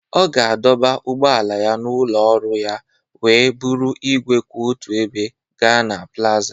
Ọ ga-adọba ụgbọala n'ụlọ ọrụ ya wee buru igwe kwụ otu ebe gaa na plaza